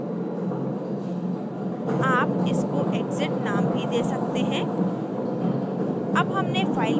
आप इसको exit नाम भी दे सकते हैं